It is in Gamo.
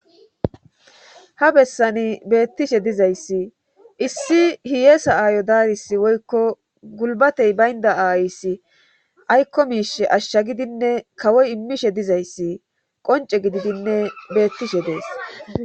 Ha bessani beettishe dizayssi issi hiyeesa aayo daaris woykko gulbatey baynda aayssi aykko miishe ashsha gidinne kawoy immishe dizayssi qonce gididinne beettishe dees.